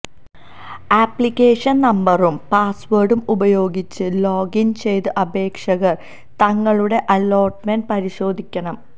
application നമ്പറും പാസ്വേഡും ഉപയോഗിച്ച് ലോഗിൻ ചെയ്ത് അപേക്ഷകർ തങ്ങളുടെ അലോട്ട്മൻെറ് പരിശോധിക്കണം